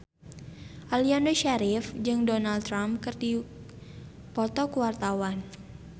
Aliando Syarif jeung Donald Trump keur dipoto ku wartawan